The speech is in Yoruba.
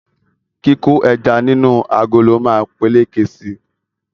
Kíkó ẹja nínú agolo ma peléke si